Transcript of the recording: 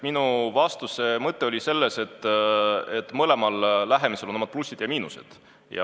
Minu vastuse mõte oli selles, et mõlemal lähenemisel on omad plussid ja miinused.